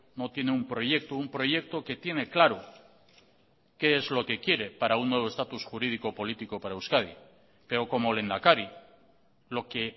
no tiene un proyecto un proyecto que tiene claro qué es lo que quiere para un nuevo estatus jurídico político para euskadi pero como lehendakari lo que